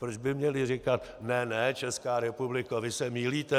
Proč by měli říkat: Ne, ne, Česká republiko, vy se mýlíte!